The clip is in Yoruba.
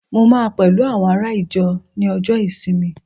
mo ma pẹlu awọn ará ìjọ Ni ọjọ isinmi